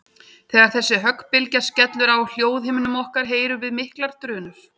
Þegar þessi höggbylgja skellur á hljóðhimnum okkar heyrum við miklar drunur.